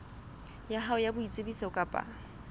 ya hao ya boitsebiso kapa